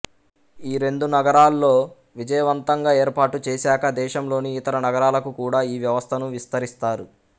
ఈ రెందు నగరాల్లో విజయవంతంగా ఏర్పాటు చేసాక దేశంలోని ఇతర నగరాలకు కూడా ఈ వ్యవస్థను విస్తరిస్తారు